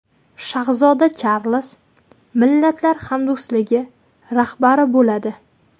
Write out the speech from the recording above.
Shahzoda Charlz Millatlar hamdo‘stligi rahbari bo‘ladi.